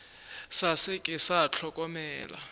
sa se ke sa hlokomela